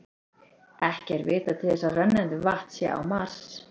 ekki er vitað til þess að rennandi vatn sé á mars